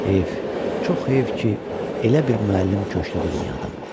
Heyf, çox heyf ki, elə bir müəllim köçdü bu dünyadan.